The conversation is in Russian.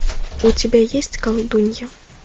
у тебя есть колдунья